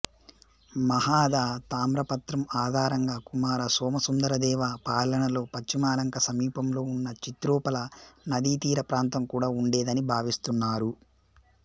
మహాద తామ్రపత్రం ఆధారంగా కుమార సోమసుందరదేవ పాలనలో పశ్చిమలంక సమీపంలో ఉన్న చిత్రోపల నదీతీరప్రాంతం కూడా ఉండేదని భావిస్తున్నారు